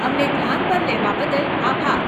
અમને ધ્યાન પર લેવા બદલ આભાર.